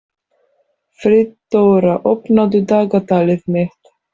Friðdóra, opnaðu dagatalið mitt.